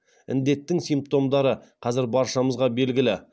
індеттің симптомдары қазір баршамызға белгілі